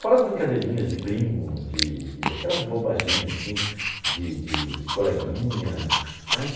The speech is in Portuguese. Fora as brincadeirinhas de primo de de, aquelas bobaginhas assim, de de de coleguinha, mas